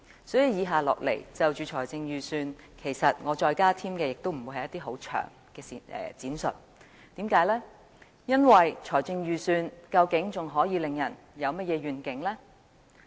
所以，我不會再就財政預算案加添太多詳細的闡述，因為預算案究竟還能令人有甚麼願景？